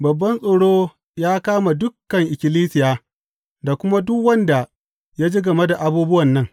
Babban tsoro ya kama dukan ikkilisiya da kuma duk wanda ya ji game da abubuwan nan.